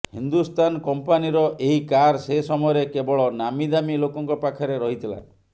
ହିନ୍ଦୁସ୍ତାନ କମ୍ପାନୀର ଏହି କାର ସେ ସମୟରେ କେବଳ ନାମୀଦାମୀ ଲୋକଙ୍କ ପାଖରେ ରହିଥିଲା